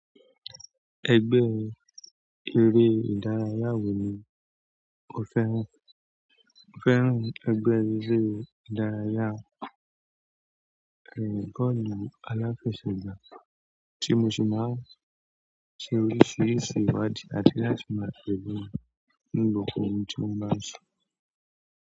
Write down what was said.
Ẹgbẹ́ eré ìdárayá wò ní o fẹ́ràn? Mo fẹ́ràn ẹgbẹ́ eré ìdárayá, ẹ, bọ́ọ̀lù aláfẹsẹ̀gbà. Ti mo si maa n se oríṣiríṣi ìwádìí àti maa tẹle ní gbogbo ohun tí wọ́n ń bá ṣe.